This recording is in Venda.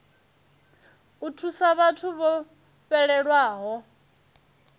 u thusa vhathu vho fhelelwaho